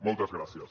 moltes gràcies